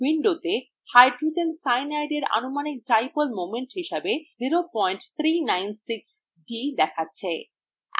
windowতে hydrogen সাইনাইডের আনুমানিক dipole moment হিসাবে 0396d দেখাচ্ছে